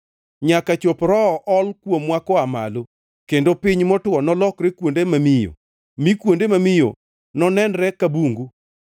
nyaka chop Roho ol kuomwa koa malo, kendo piny motwo nolokre kuonde mamiyo, mi kuonde mamiyo nonenre ka bungu.